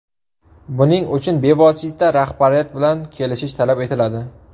Buning uchun bevosita rahbariyat bilan kelishish talab etiladi.